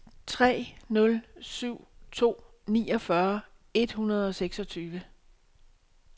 tre nul syv to niogfyrre et hundrede og seksogtyve